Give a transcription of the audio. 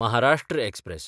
Maharashtra express